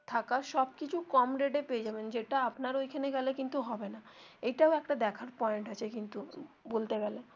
থাকার সব কিছু কম rate এ পেয়ে যাবেন যেটা আপনার ঐখানে গেলে কিন্তু হবে না এইটাও একটা দেখার পয়েন্ট আছে কিন্তু বলতে গেলে.